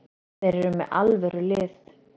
Þeir eru með alvöru lið.